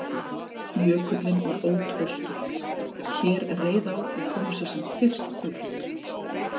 Jökullinn var ótraustur, hér reið á að koma sér sem fyrst burt.